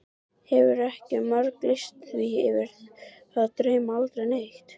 Hefurðu ekki marglýst því yfir að þig dreymi aldrei neitt?